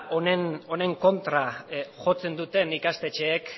honen kontra jotzen duten ikastetxeek